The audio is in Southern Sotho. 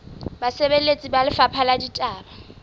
basebeletsi ba lefapha la ditaba